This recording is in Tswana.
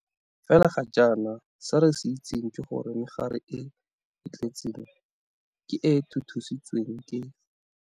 Fela ga jana se re se itseng ke gore megare e e tletseng ke e e thuthusitsweng ke.